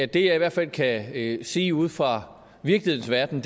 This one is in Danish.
det jeg i hvert fald kan sige ude fra virkelighedens verden